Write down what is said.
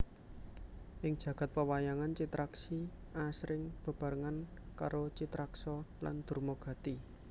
Ing jagad pewayangan Citraksi asring bebarengan karo Citraksa lan Durmagati